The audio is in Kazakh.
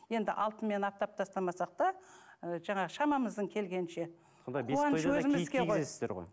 енді алтынмен аптап тастамасақ та ы жаңағы шамамыздың келгенінше